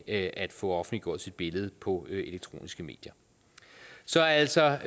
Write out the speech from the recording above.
at få offentliggjort sit billede på de elektroniske medier så altså